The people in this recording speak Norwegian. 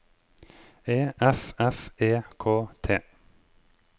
E F F E K T